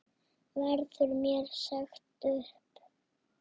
Verður mér sagt upp?